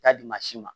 K'a di maa si ma